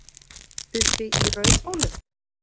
Uppi í Rauðhólum?